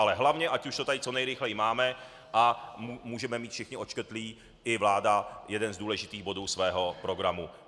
Ale hlavně, ať už to tady co nejrychleji máme a můžeme mít všichni odškrtlý, i vláda, jeden z důležitých bodů svého programu.